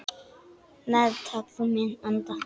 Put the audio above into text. Meðtak þú minn anda.